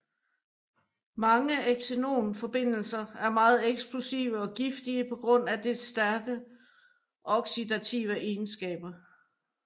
Mange xenon forbindelser er meget eksplosive og giftige på grund af dets stærke oxidative egenskaber